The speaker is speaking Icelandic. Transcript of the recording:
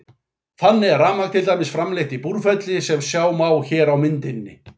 Þannig er rafmagn til dæmis framleitt í Búrfelli sem sjá má hér á myndinni.